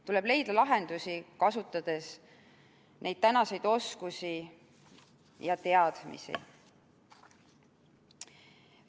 Tuleb leida lahendusi, kasutades tänaseid oskusi ja teadmisi.